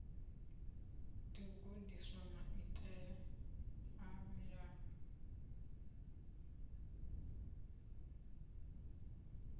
ḓo gudiswa maitele a mulayo